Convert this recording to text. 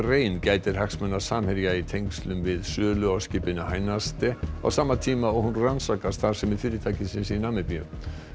rein gætir hagsmuna Samherja í tengslum við sölu á skipinu á sama tíma og hún rannsakar starfsemi fyrirtækisins í Namibíu